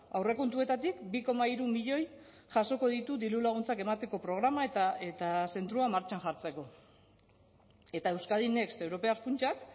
aurrekontuetatik bi koma hiru milioi jasoko ditu dirulaguntzak emateko programa eta zentroa martxan jartzeko eta euskadi next europear funtsak